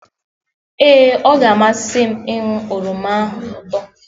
ee, ọ ga-amasị m ịnụ oroma ahụ ụtọ